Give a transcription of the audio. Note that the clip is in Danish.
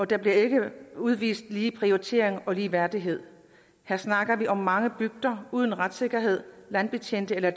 der bliver ikke udvist lige prioritering og ligeværdighed her snakker vi om mange bygder uden retssikkerhed landbetjente eller